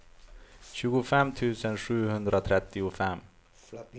tjugofem tusen sjuhundratrettiofem